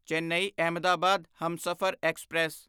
Chennai Ahmedabad Humsafar express